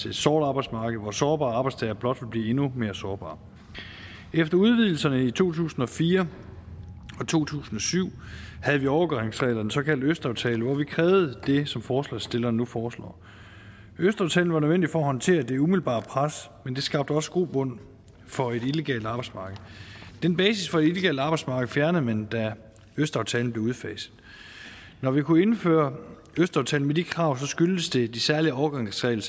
et sort arbejdsmarked hvor sårbare arbejdstagere blot ville blive endnu mere sårbare efter udvidelserne i to tusind og fire og to tusind og syv havde vi overgangsreglerne såkaldte østaftale hvor vi krævede det som forslagsstillerne nu foreslår østaftalen var nødvendig for at håndtere det umiddelbare pres men den skabte også grobund for et illegalt arbejdsmarked den basis for et illegalt arbejdsmarked fjernede man da østaftalen bliver udfaset når vi kunne indføre østaftalen med de pågældende krav skyldtes det de særlige overgangsregler